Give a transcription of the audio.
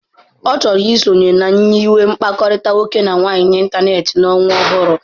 Ọ chọrọ isonye na nyiwe mkpakọrịta nwoke na nwaanyị n'ịntanetị n'ọnwa ọhụrụ.